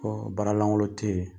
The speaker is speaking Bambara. Kɔ baaralangolo tɛ yen;